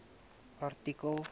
artikel